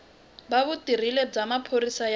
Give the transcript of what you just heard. va vutirheli bya maphorisa ya